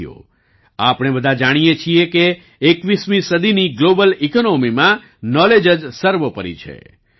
સાથીઓ આપણે બધા જાણીએ છીએ કે 21મી સદીની ગ્લોબલ ઈકોનોમીમાં નોલેજ જ સર્વોપરી છે